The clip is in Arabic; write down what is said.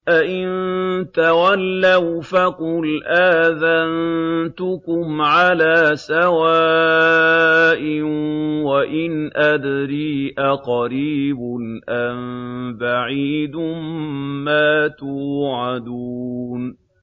فَإِن تَوَلَّوْا فَقُلْ آذَنتُكُمْ عَلَىٰ سَوَاءٍ ۖ وَإِنْ أَدْرِي أَقَرِيبٌ أَم بَعِيدٌ مَّا تُوعَدُونَ